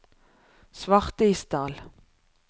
Svartisdal